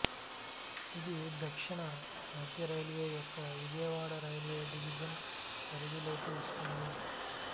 ఇది దక్షిణ మధ్య రైల్వే యొక్క విజయవాడ రైల్వే డివిజను పరిధిలోకి వస్తుంది